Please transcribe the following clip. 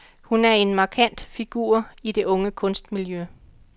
Hun er en markant figur i det unge kunstmiljø.